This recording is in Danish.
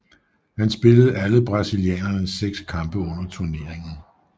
Han spillede alle brasilianernes seks kampe under turneringen